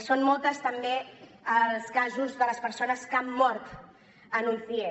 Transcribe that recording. són molts també els casos de les persones que han mort en un cie